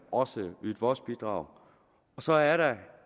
også ydet vores bidrag og så er der